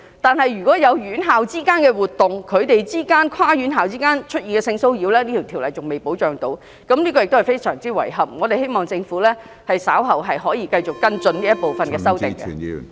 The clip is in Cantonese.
但是，如果院校之間有活動，在跨院校之間出現性騷擾，《條例草案》仍未能提供保障，這亦是非常遺憾的，我們希望政府稍後繼續跟進這部分的修訂。